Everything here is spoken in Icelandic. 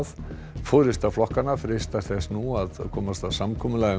forysta flokkanna freistar þess nú að komast að samkomulagi um